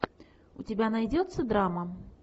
у тебя найдется драма